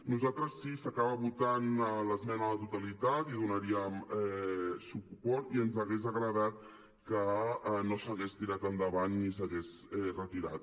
nosaltres si s’acaba votant l’esmena a la totalitat hi donaríem suport i ens ha·gués agradat que no s’hagués tirat endavant i s’hagués retirat